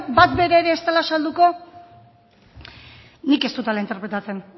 bat bera ere ez dela salduko nik ez dut hala interpretatzen